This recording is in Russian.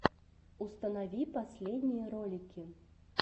установи последние ролики